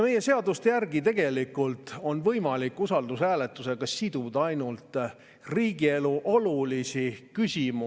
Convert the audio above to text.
Meie seaduste järgi on võimalik usaldushääletusega siduda tegelikult ainult riigielule olulisi eelnõusid.